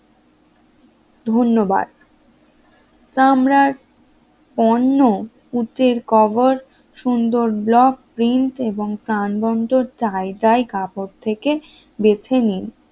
ধন্যবাদ কামরার অন্য পুতির কভার সুন্দর ব্লক প্রিন্ট এবং প্রাণবন্ত চাই চাই কাপড় থেকে বেছে নিন